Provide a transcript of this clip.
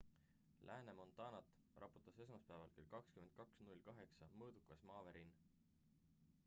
lääne-montanat raputas esmaspäeval kell 22:08 mõõdukas maavärin